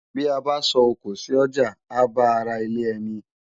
Bi á bá sò ókó si òjá á bá àrá ilè èni